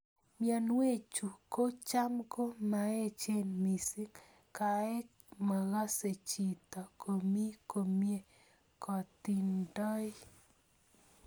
Mionwek chu ko cham ko maechen mising, kaek makasechito komii komie kotindoi.